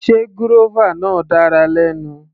Sé gúrọ́fà náà dára lẹ́nu.